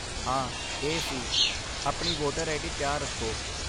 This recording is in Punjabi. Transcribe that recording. ਹਾਂ, ਇਹ ਸੀ। ਆਪਣੀ ਵੋਟਰ ਆਈਡੀ ਤਿਆਰ ਰੱਖੋ।